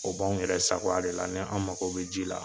O b'an yɛrɛ sagoya de la n'an mago be ji la